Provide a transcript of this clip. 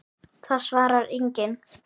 Það svarar enginn